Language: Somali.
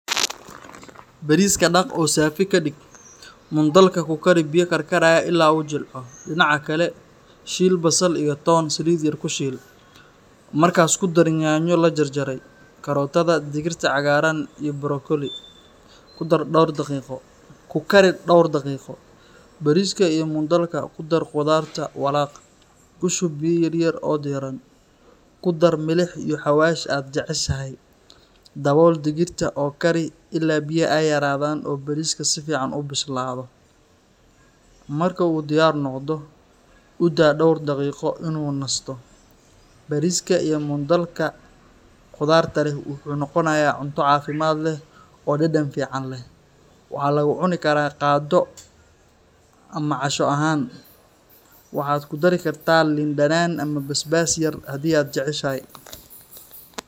Bariiska dhaq oo saafi ka dhig. Mung dhal-ka ku kari biyo karkaraya ilaa uu jilco. Dhinaca kale, shiil basal iyo toon saliid yar ku shiil. Markaas ku dar yaanyo la jarjaray, kaarootada, digirta cagaaran, iyo brokoli. Ku kari dhowr daqiiqo. Bariiska iyo mung dhal-ka ku dar khudaarta, walaaq. Ku shub biyo yar oo diiran. Ku dar milix iyo xawaash aad jeceshahay. Dabool digirta oo kari ilaa biyaha ay yaraadaan oo bariiska si fiican u bislaado. Marka uu diyaar noqdo, u daa dhowr daqiiqo inuu nasato. Bariiska iyo mung dhal-ka khudaarta leh wuxuu noqonayaa cunto caafimaad leh oo dhadhan fiican leh. Waxaa lagu cuni karaa qado ama casho ahaan. Waxaad ku dari kartaa liin dhanaan ama basbaas yar haddii aad jeceshahay.